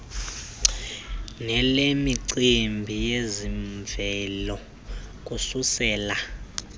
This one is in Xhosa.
nelemicimbi yezemvelo kuvuselela